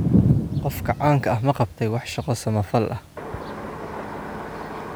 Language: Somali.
Qofka caanka ah ma qabtay wax shaqo samafal ah?